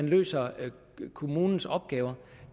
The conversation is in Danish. løser kommunens opgaver